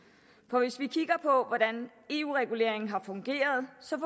for hvis vi kigger på hvordan eu reguleringen har fungeret ser